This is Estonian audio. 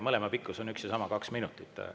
Mõlema pikkus on üks ja sama, kaks minutit.